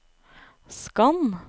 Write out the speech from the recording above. skann